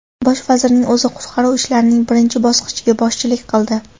Bosh vazirning o‘zi qutqaruv ishlarining birinchi bosqichiga boshchilik qildi.